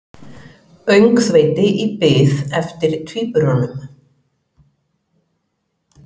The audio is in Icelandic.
Öngþveiti í bið eftir tvíburunum